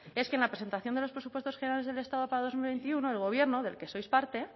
es que en la presentación de los presupuestos generales del estado para dos mil veintiuno el gobierno del que sois parte